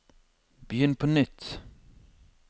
begynn på nytt